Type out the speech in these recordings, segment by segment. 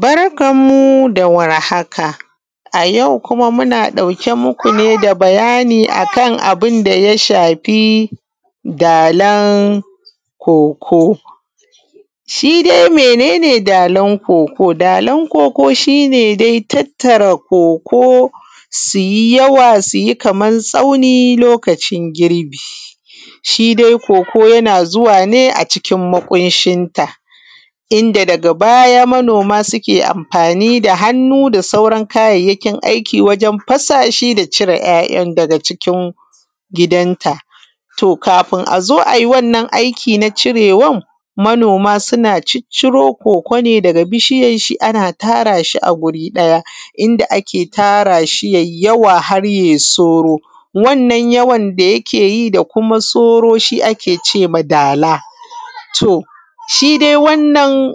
Barkan mu da warhaka. A yau kuma muna ɗauke muku ne da bayani akan abunda ya shafi dalan koko. Shidai mene ne dalan koko? Dalan koko shine dai tattara koko suyi yawa suyi Kaman tsauni lokacin girbi. Shidai koko yana zuwa ne a cikin maƙunshinta inda daga baya manoma suke amfani da hannu da sauran kayayyakin aiki wajen fasashi da ‘ya’ ‘yan’ daga cikin gidan ta kafin azo ai wannan aiki na cirewan manoma suna cicciro koko ne daga bishiyan shi ana tarashi a guri ɗaya inda ake tarashi yai yawa haryai soro. Wannan yawan da yakeyi da kuma soro shi ake cema dala. To shidai wannan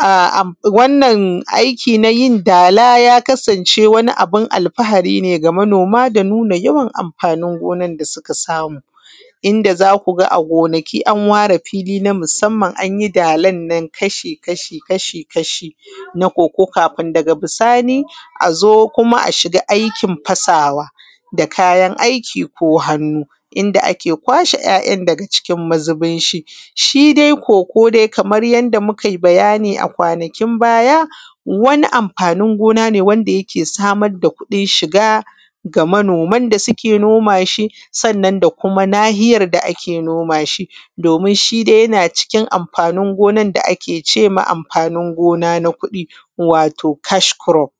aiki nayin dala ya kasance wani abun alfahari ne ga manoma da nuna yawan amfanin gonan da suka samu. Inda zakuga a gonaki an ware fili anyi dalannan kasha kasha na koko kafin da bisani azo kuma a shiga aikin fasawa da kayan aiki ko hannu inda ake kwashe ‘ya’ ‘yan’ dake cikin mazubin shi. Shidai koko dai Kamar yanda Mukai abayani a kwanakin baya wani amfanin gona ne wanda yake samar da kuɗin shiga ga manoman da suke nomashi sannan da kuma nahiyar da ake nomashi domin shidai yana cikin amfanin gonan da ake cema amfanin gona na kuɗi wato kashkurof.